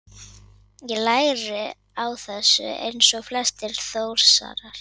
Ég læri á þessu eins og flestir Þórsarar.